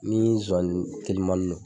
Ni zozani telimannin do